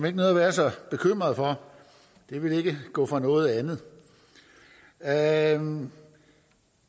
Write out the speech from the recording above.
ikke at være så bekymret for det vil ikke gå fra noget andet andet